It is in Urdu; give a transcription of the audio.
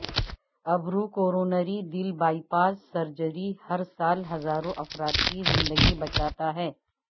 ابروکورونری دل بائی پاس سرجری ہر سال ہزاروں افراد کی زندگی بچاتا ہے